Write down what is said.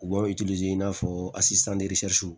U b'a i n'a fɔ